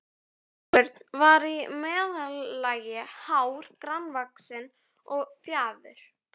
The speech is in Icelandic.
Sveinbjörn var í meðallagi hár, grannvaxinn og fjaður